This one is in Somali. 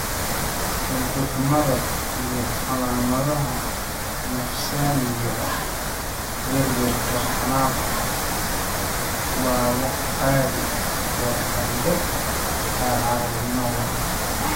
Hurdo xumada iyo calaamadaha nafsaaniga ah (werwerka, xanaaqa) waa wax caadi ah goor dambe oo carruurnimada ah.